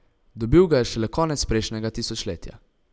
Dobil ga je šele konec prejšnjega tisočletja.